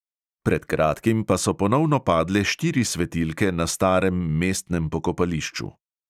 Pred kratkim pa so ponovno padle štiri svetilke na starem mestnem pokopališču.